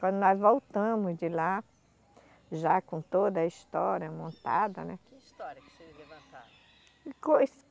Quando nós voltamos de lá, já com toda a história montada né... Que história que vocês?